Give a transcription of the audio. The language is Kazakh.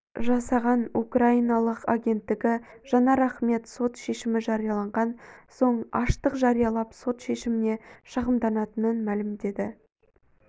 жасаған украиналық агенттігі жанар ахмет сот шешімі жарияланған соң аштық жариялап сот шешіміне шағымданатынын мәлімдеді